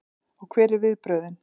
Og hver eru viðbrögðin?